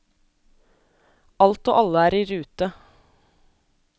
Alt og alle er i rute.